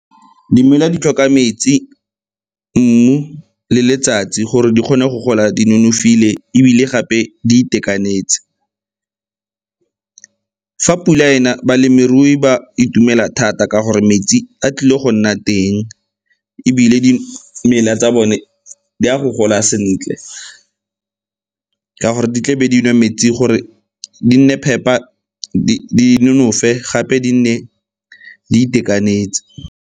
Dimela di tlhoka metsi, mmu le letsatsi gore di kgone go gola di nonofile ebile gape di itekanetse. Fa pula e na, balemirui ba itumela thata ka gore metsi a tlile go nna teng, ebile dimela tsa bone di a go gola sentle ka gore di tlebe di nwa metsi gore di nne phepa di nonofe gape di nne di itekanetse.